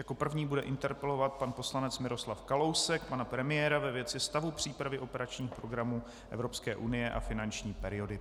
Jako první bude interpelovat pan poslanec Miroslav Kalousek pana premiéra ve věci stavu přípravy operačních programů Evropské unie a finanční periody.